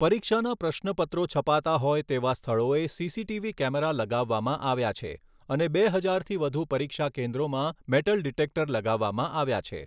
પરીક્ષાના પ્રશ્નપત્રો છપાતા હોય તેવા સ્થળોએ સીસીટીવી કેમેરા લગાવવામાં આવ્યા છે અને બે હજારથી વધુ પરીક્ષા કેન્દ્રોમાં મેટલ ડિટેક્ટર લગાવવામાં આવ્યા છે.